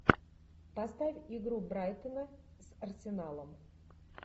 поставь игру брайтона с арсеналом